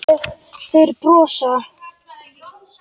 Þeir brosa.